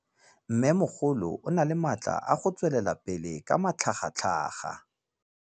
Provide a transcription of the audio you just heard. Mmêmogolo o na le matla a go tswelela pele ka matlhagatlhaga.